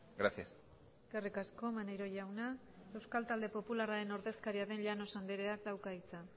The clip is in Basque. gracias eskerrik asko maneiro jauna euskal talde popularraren ordezkaria den llanos andreak dauka hitza